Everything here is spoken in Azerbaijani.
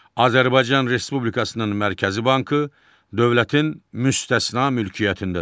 Azərbaycan Respublikasının Mərkəzi Bankı dövlətin müstəsna mülkiyyətindədir.